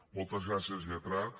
moltes gràcies lletrat